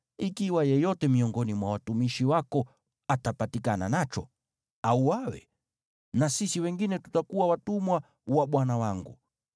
Ikiwa yeyote miongoni mwa watumishi wako atapatikana nacho, auawe, na sisi wengine tutakuwa watumwa wa bwana wangu.”